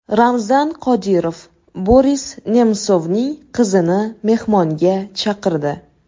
Ramzan Qodirov Boris Nemsovning qizini mehmonga chaqirdi.